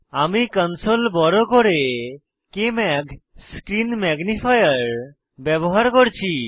আমি কনসোল বড় করে কেএমএজি স্ক্রীন ম্যাগনিফায়ার ব্যবহার করছি